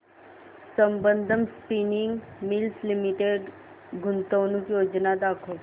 Sambandam spinning mills limited गुंतवणूक योजना दाखव